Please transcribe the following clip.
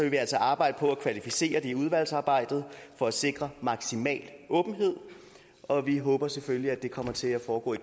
vi altså arbejde på at kvalificere det i udvalgsarbejdet for at sikre maksimal åbenhed og vi håber selvfølgelig at det kommer til at foregå i